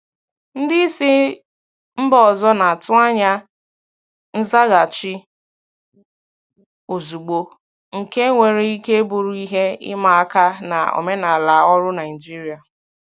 Ndị isi mba ọzọ na-atụ anya nzaghachi ozugbo, nke nwere ike bụrụ ihe ịma aka na omenala ọrụ Naijiria.